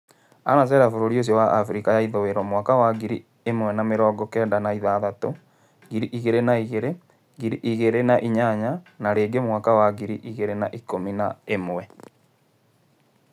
Anacera bũrũri-inĩ ũcio wa Afirika ithũiro mwaka wa ngiri ĩmwe na mĩrongo-kenda na ithathatũ, ngiri igĩrĩ na igĩrĩ, ngiri igĩrĩ na inyanya, na rĩngĩ mwaka wa ngiri igĩrĩ na ikũmi na ĩmwe.